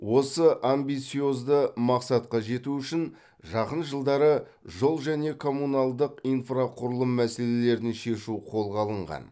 осы амбициозды мақсатқа жету үшін жақын жылдары жол және коммуналдық инфрақұрылым мәселелерін шешу қолға алынған